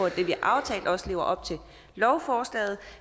at det vi har aftalt også lever op til lovforslaget